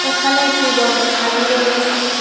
এখানে একটি বড় থালি রয়েছে।